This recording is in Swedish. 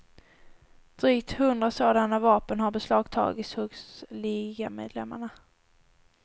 Drygt hundra sådana vapen har beslagtagits hos ligamedlemmarna.